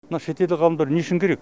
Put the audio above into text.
мына шетелдік ғалымдар не үшін керек